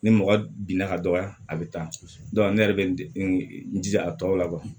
Ni mɔgɔ binna ka dɔgɔya a bɛ taa ne yɛrɛ bɛ n jija a tɔw la wa